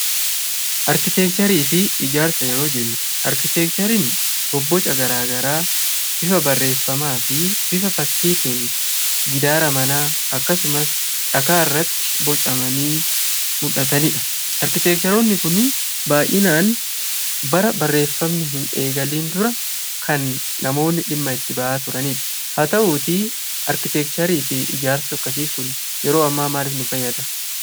Arkiteekcharii fi ijaarsa gaafa jennu; arkiteekchariin bobboca garaa garaa bifa barreeffamaa fi bifa fakkiitiin gidaara manaa akkasumas dhagaa irratti bocamanii mul'atanii dha. Arkiteekcharoonni kunniin baayyinaan bara barreeffamni hin eegalin dura kan namoonni dhimma itti ba'aa turaniidha. Haa ta'uutii arkiteekcharii fi ijaarsi akkanaa Kun maaliif nu fayyada?